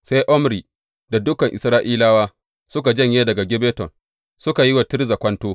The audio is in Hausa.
Sai Omri da dukan Isra’ilawa suka janye daga Gibbeton, suka yi wa Tirza kwanto.